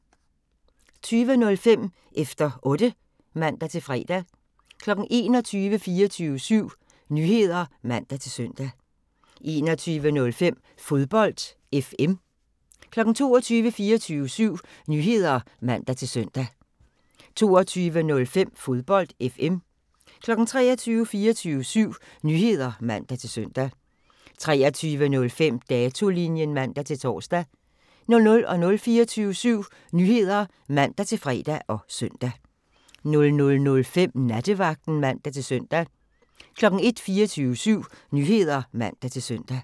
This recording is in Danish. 20:05: Efter Otte (man-fre) 21:00: 24syv Nyheder (man-søn) 21:05: Fodbold FM 22:00: 24syv Nyheder (man-søn) 22:05: Fodbold FM 23:00: 24syv Nyheder (man-søn) 23:05: Datolinjen (man-tor) 00:00: 24syv Nyheder (man-fre og søn) 00:05: Nattevagten (man-søn) 01:00: 24syv Nyheder (man-søn)